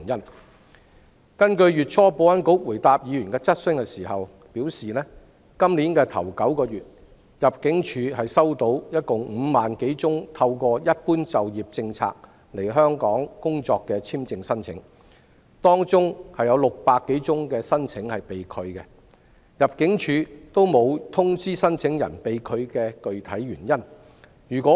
保安局月初回答議員質詢時表示，今天首9個月，入境處共收到5萬多宗透過"一般就業政策"來港工作的簽證申請，當中有600多宗申請被拒，入境處均沒有通知申請人被拒的具體原因。